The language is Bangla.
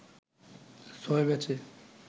ছয় ম্যাচে